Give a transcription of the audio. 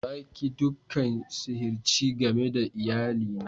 Na ki dukan sihirci game da iyali na.